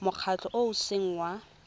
mokgatlho o o seng wa